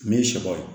Min sɛbɛ